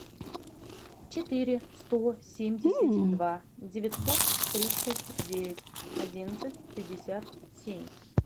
четыре сто семьдесят два девятьсот тридцать девять одиннадцать пятьдесят семь